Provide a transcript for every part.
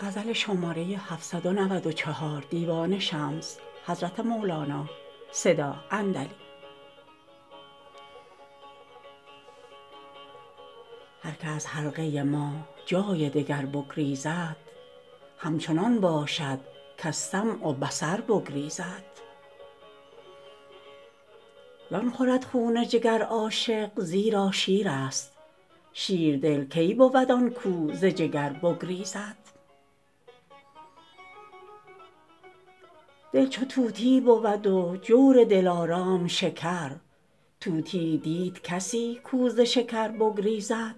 هر کی از حلقه ما جای دگر بگریزد همچنان باشد کز سمع و بصر بگریزد زان خورد خون جگر عاشق زیرا شیر است شیردل کی بود آن کو ز جگر بگریزد دل چو طوطی بود و جور دلارام شکر طوطیی دید کسی کو ز شکر بگریزد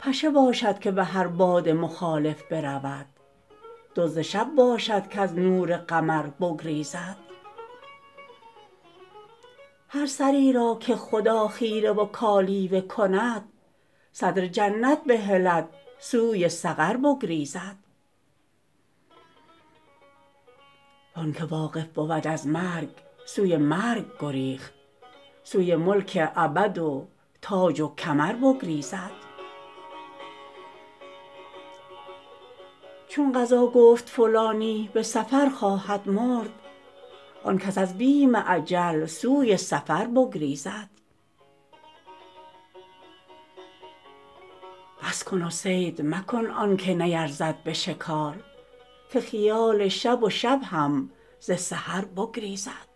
پشه باشد که به هر باد مخالف برود دزد شب باشد کز نور قمر بگریزد هر سری را که خدا خیره و کالیوه کند صدر جنت بهلد سوی سقر بگریزد و آنک واقف بود از مرگ سوی مرگ گریخت سوی ملک ابد و تاج و کمر بگریزد چون قضا گفت فلانی به سفر خواهد مرد آن کس از بیم اجل سوی سفر بگریزد بس کن و صید مکن آنک نیرزد به شکار که خیال شب و شب هم ز سحر بگریزد